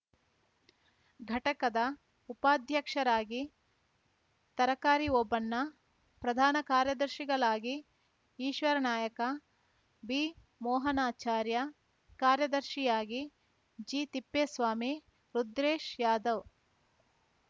ಘಟಕದ ಉಪಾಧ್ಯಕ್ಷರಾಗಿ ತರಕಾರಿ ಓಬಣ್ಣ ಪ್ರಧಾನ ಕಾರ್ಯದರ್ಶಿಗಳಾಗಿ ಈಶ್ವರನಾಯಕ ಬಿಮೋಹನಚಾರ್ಯಾ ಕಾರ್ಯದರ್ಶಿಯಾಗಿ ಜಿತಿಪ್ಪೇಸ್ವಾಮಿ ರುದ್ರೇಶ್‌ಯಾದವ್‌